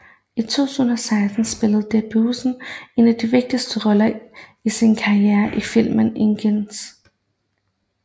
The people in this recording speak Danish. I 2006 spillede Debbouze en af de vigtigste roller i sin karriere i filmen Indigènes